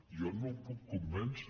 jo no el puc convèncer